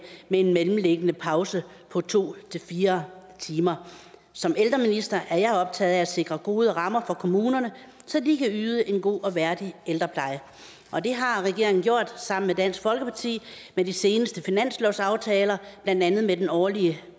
med en mellemliggende pause på to fire timer som ældreminister er jeg optaget af at sikre gode rammer for kommunerne så de kan yde en god og værdig ældrepleje og det har regeringen gjort sammen med dansk folkeparti ved de seneste finanslovsaftaler blandt andet med den årlige